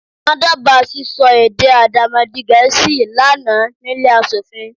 Wọ́n dábàá sísọ èdè Àdàmọ̀dì-gẹ̀ẹ́sì lá nàá nílé aṣòfin.